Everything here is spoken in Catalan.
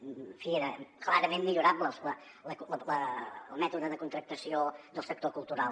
en fi era clarament millorable el mètode de contractació del sector cultural